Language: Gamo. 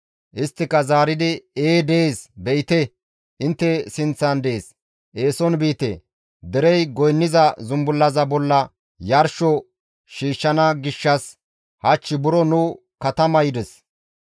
Isttika zaaridi, «Ee dees; be7ite intte sinththan dees; eeson biite; derey goynniza zumbullaza bolla yarsho shiishshana gishshas hach buro nu katama yides;